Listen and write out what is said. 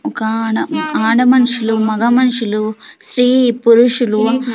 ఒక ఆడ ఆడ మనుషులు మగ మనుషులు స్త్రీ పురుషులు.